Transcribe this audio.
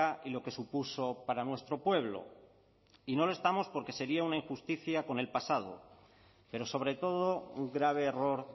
y lo que supuso para nuestro pueblo y no lo estamos porque sería una injusticia con el pasado pero sobre todo un grave error